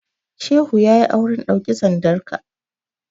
Shehu ya yi auren ɗauki sandanka.